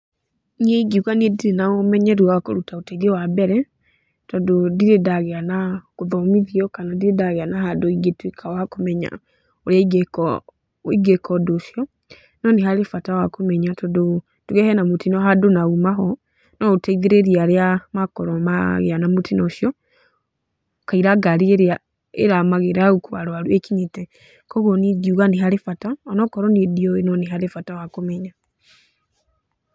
Niĩ ingiũga niĩ ndirĩ na ũmenyeru wa kũruta ũteithio wa mbere, tondũ ndirĩ ndagĩa na gũthomithio kana ndirĩ ndagĩa na handũ ingĩtuĩka wa kũmenya ũrĩa ingĩka ingĩka ũndũ ũcio, no nĩharĩ bata wa kũmenya tondũ, tuge hena mũtino handũ na uma ho, no ũteithĩrĩrie arĩa makorwo magĩa na mũtino ũcio, kaira ngari ĩrĩa ĩramagĩra ya gũkua arwaru ĩkinyĩte. Koguo niĩ ingiuga nĩharĩ bata, onokorwo niĩ ndiũĩ nĩharĩ bata.